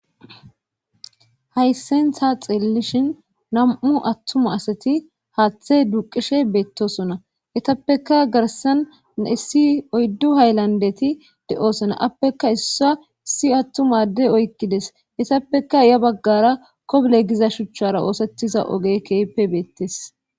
hayssenhta xelelishin nam7u attuma asati haaththe duuqishe beettosona yetappeka garsan naissi oyddu hayllandeti de7osona appekka issa issi attumadde oykkides yetappeka ya baggara koble giza shuchchara oosettiza oge keehipe beettes